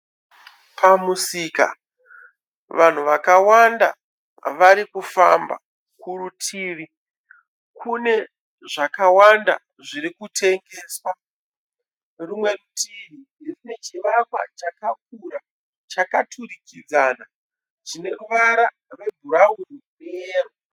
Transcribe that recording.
Pamusika vanhu vakawanda vari kufamba, kurutivi kune zvakawanda zviri kutengeswa. Rumwe rutivi rine chivakwa chakakura chakaturikidzana chine ruvara rwebhurawuni neyero.